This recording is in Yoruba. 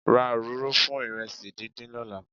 Ra òróró fún ìrẹsì díndín lọ́la.